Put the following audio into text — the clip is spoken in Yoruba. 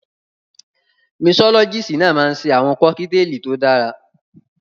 Misọ́lọ́gíìsì náà máa ń ṣe àwọn kọ́kíteèlì tí ó dára.